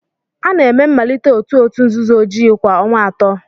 A na-eme mmalite otu òtù nzuzo ojii ojii kwa ọnwa atọ.